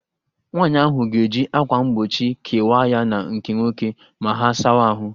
Nwaanyị ahụ ga-eji akwa mgbochi kewaa ya na nke nwoke ma ha sawa ahụ